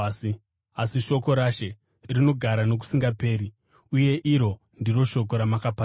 asi shoko raShe rinogara nokusingaperi.” Uye iri ndiro shoko ramakaparidzirwa.